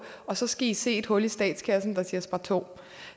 og så skal i se et hul i statskassen der siger sparto